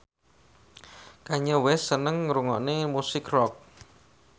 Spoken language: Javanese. Kanye West seneng ngrungokne musik rock